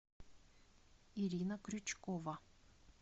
ирина крючкова